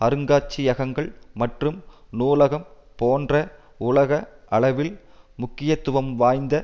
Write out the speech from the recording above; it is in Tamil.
அருங்காட்சியகங்கள் மற்றும் நூலகம் போன்ற உலக அளவில் முக்கியத்துவம் வாய்ந்த